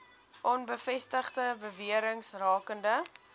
onbevestigde bewerings rakende